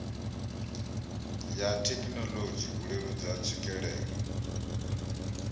ya thekinolodzhi u leludza tswikelelo